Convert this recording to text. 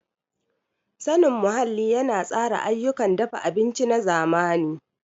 Sanin muhalli yana tsara ayyukan dafa abinci na zamani.